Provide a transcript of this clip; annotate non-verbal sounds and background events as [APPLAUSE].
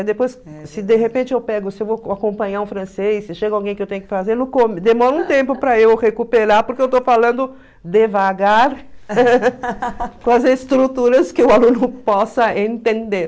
Aí depois, se de repente eu pego, se eu vou acompanhar um francês, se chega alguém que eu tenho que fazer, [UNINTELLIGIBLE] demora um tempo para eu recuperar, porque eu estou falando devagar... [LAUGHS] com as estruturas que o aluno possa entender.